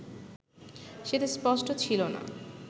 সেটা স্পষ্ট ছিল না